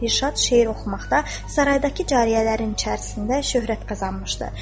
Dilşad şeir oxumaqda saraydakı cariyələrin içərisində şöhrət qazanmışdı.